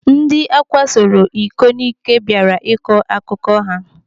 Ndị akwasoro iko n'ike bịara ịkọ akụkọ ha.